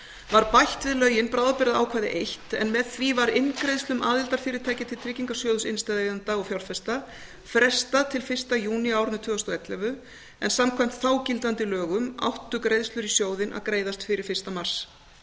var bætt við lögin bráðabirgðaákvæði eitt en með því var inngreiðslum aðildarfyrirtækja til tryggingasjóðs innstæðueigenda og fjárfesta frestað til fyrsta júní á árinu tvö þúsund og ellefu en samkvæmt þágildandi lögum áttu greiðslur í sjóðinn að greiðast fyrir fyrsta mars